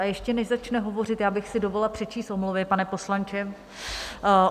A ještě než začne hovořit, já bych si dovolila přečíst omluvy, pane poslanče.